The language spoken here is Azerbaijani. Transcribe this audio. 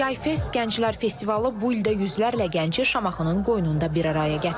Yay Fest Gənclər Festivalı bu ildə yüzlərlə gənci Şamaxının qoynunda bir araya gətirib.